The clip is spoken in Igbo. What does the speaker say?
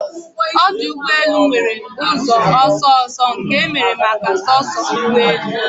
Ọdụ ụgbọ elu nwere ụzọ ọsọ ọsọ nke emere maka soso ụgbọ elu